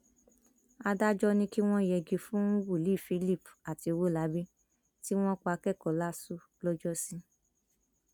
adájọ ní kí wọn yẹgi fún wòlíì philip àti ọwólábí tí wọn pa akẹkọọ láṣù lọjọsí